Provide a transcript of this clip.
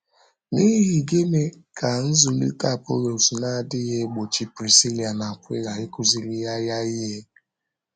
N’íhì gịnị ka nzụ̀lite Apọlọs na-adịghị egbochi Prisíla na Akwịla ịkụziri ya ya ihe?